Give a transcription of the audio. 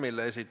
Aitäh!